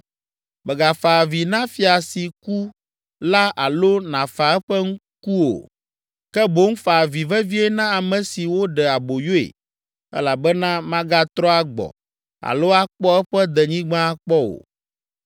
Mègafa avi na fia si ku la alo nàfa eƒe ku o, ke boŋ fa avi vevie na ame si woɖe aboyoe elabena magatrɔ agbɔ alo akpɔ eƒe denyigba akpɔ o.